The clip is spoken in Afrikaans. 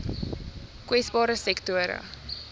kwesbare sektore